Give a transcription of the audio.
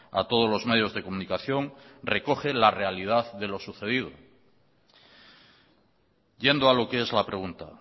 a todos los medios de comunicación recogen la realidad de lo sucedido yendo a lo que es la pregunta